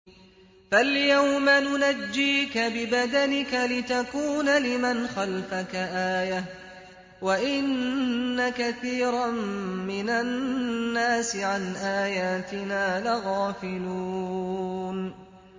فَالْيَوْمَ نُنَجِّيكَ بِبَدَنِكَ لِتَكُونَ لِمَنْ خَلْفَكَ آيَةً ۚ وَإِنَّ كَثِيرًا مِّنَ النَّاسِ عَنْ آيَاتِنَا لَغَافِلُونَ